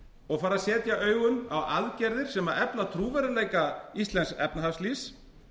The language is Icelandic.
og fara að setja augun á aðgerðir sem efla trúverðugleika íslensks efnahagslífs